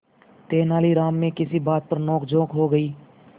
तेनालीराम में किसी बात पर नोकझोंक हो गई